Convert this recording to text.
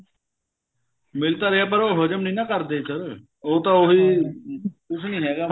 ਮਿਲ ਤਾਂ ਰਿਹਾ ਪਰ ਉਹ ਹਜਮ ਨੀ ਨਾ ਕਰਦੇ sir ਉਹ ਤਾਂ ਉਹੀ ਕੁੱਝ ਨੀ ਹੈਗਾ